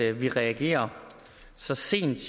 at vi reagerer så sent